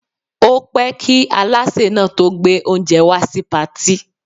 Ó pẹ́ kí Alásè náà tó gbé oúnjẹ wá sí Patí.